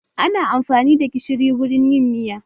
Ana amfani da gishiri wurin yin miya.